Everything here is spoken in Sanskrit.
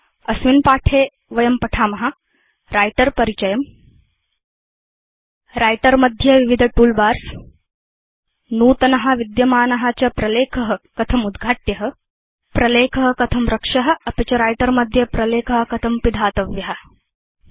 अस्मिन् पाठे वयं writer परिचयं व्रिटर मध्ये विविध तूल बार्स नूतन विद्यमान च प्रलेख कथम् उद्घाट्य प्रलेख कथं रक्ष्य अपि च व्रिटर मध्ये प्रलेख कथं पिधातव्य चेति पठेम